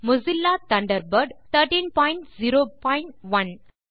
will Mozilla Thunderbird 1301